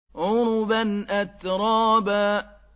عُرُبًا أَتْرَابًا